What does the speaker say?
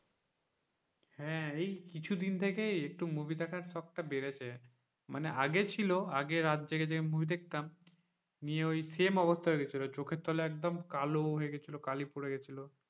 হ্যাঁ, এই কিছুদিন থেকেই একটু movie দেখার শখটা বেড়েছে মানে আগে ছিল আগে রাত জেগে জেগে movie দেখতাম নিয়ে ওই same অবস্থা হয়ে গিয়েছিল চোখের তলায় একদম কালো হয়ে গেছিল কালি পড়ে গেছিল,